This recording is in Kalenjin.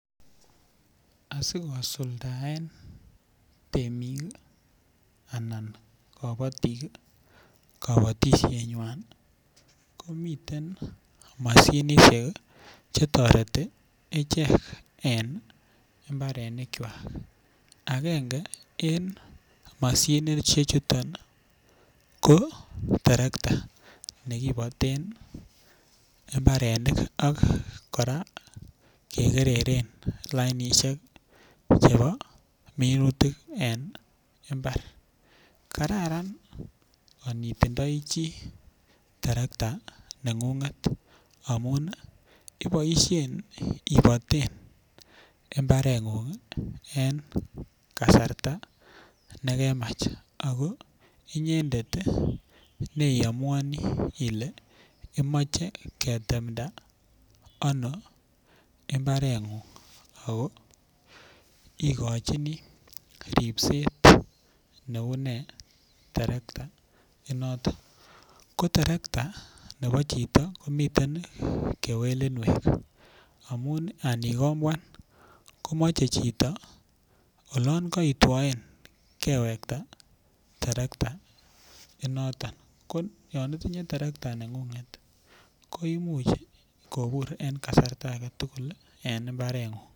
Asiko suldaen temik anan kopotik kapotishet nywan komiten mashinishek che toreti ichek en imbarenik chwan akenge eng mashinishek chuton ko terekta nekiboten mbarenik ak kora kekereren lainishek chebo minutik en imbar kararan yon itindoi chii terekta neng'ung'et amun iboishen ibiten imbaret ng'ung' en kasarta nekamach ako inyendet neamuani ile imoche ketemda ano imbarengung ako ikochini ripset neune terekta en noto ko terekta nebo chito komiten kewelinwek amun anikomboan komochei chito olon kaitwoen kewekta terekta inoton ko yon itinye terektait ningunget koimuchkobur eng kasarta ake tugul en imbarengung